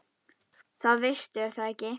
Það veistu er það ekki?